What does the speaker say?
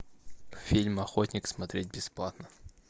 фильм охотник смотреть бесплатно